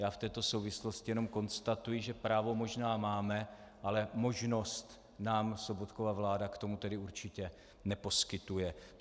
Já v této souvislosti jenom konstatuji, že právo možná máme, ale možnost nám Sobotkova vláda k tomu tedy určitě neposkytuje.